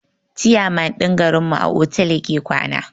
ciyaman din garin mu a otal yake kwana.